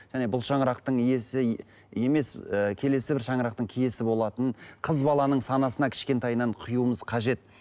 және бұл шаңырақтың иесі емес ыыы келесі бір шаңырақтың киесі болатынын қыз баланың санасына кішкентайынан құюымыз қажет